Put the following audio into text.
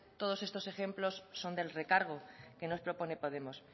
todos estos ejemplos son del recargo que nos propone podemos